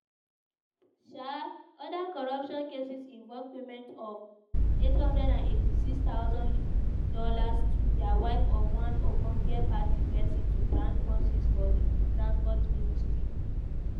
um oda corruption cases involve payment of $886000 to di wife of one ogbonge party pesin to brand buses for di transport ministry.